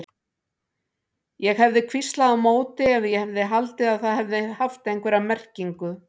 Ég hefði hvíslað á móti ef ég hefði haldið að það hefði haft einhverja merkingu.